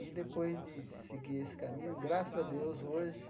E, depois de seguir esse caminho, graças a Deus, hoje